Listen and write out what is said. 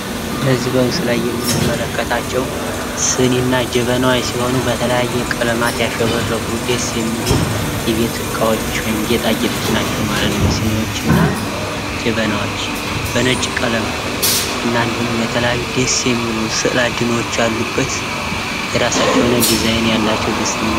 በዚህ ምስል ላይ የምንመለከታቸው ሲኒና ጀበና ሲሆኑ ፤ በተለያየ ቀለማት ያሸበረቁ፣ ደስ የሚሉ የቤት እቃወች ወይም ጌጣጌጦች ናቸው ማለት ነው። ሲኒዎች እና ጀበናዎች ፤ በነጭ ቀለም እና እንዲሁም የተለያዩ ደስ የሚሉ ስእለ አድኖዎች ያሉበት፤ የራሳቸው የሆነ ቅርጽ ያላቸዉ ደስ የሚሉ ናቸዉ።